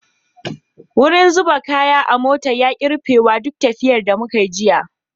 Wurin zuba kaya a mota ya ki rufewa duk tafiyan da muka yi jiya.